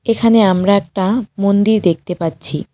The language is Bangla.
এখানে আমরা একটা মন্দির দেখতে পাচ্ছি।